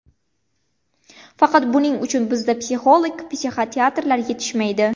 Faqat buning uchun bizda psixolog, psixiatrlar yetishmaydi.